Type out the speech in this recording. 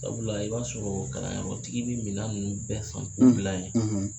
Sabula i b'a sɔrɔ kalanyɔrɔ tigi bɛ mina ninnu bɛɛ san k'u bila yen